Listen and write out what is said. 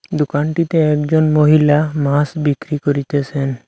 দুকানটিতে একজন মহিলা মাস বিক্রি করিতেসেন।